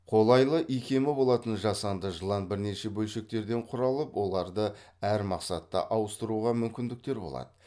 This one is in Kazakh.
қолайлы икемі болатын жасанды жылан бірнеше бөлшектерден құралып оларды әр мақсатта ауыстыруға ммүкіндіктер болады